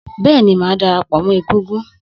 Bẹ́ẹ̀ni, màá dara pọ̀ mọ égúngún